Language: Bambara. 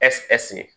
Ɛseke ɛseke